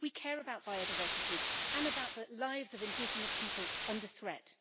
We care about biodiversity and about the lives of indigenous people under threat.